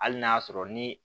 Hali n'a y'a sɔrɔ ni